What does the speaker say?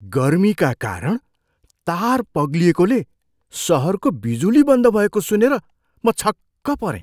गर्मीका कारण तार पग्लिएकोले सहरको बिजुली बन्द भएको सुनेर म छक्क परेँ!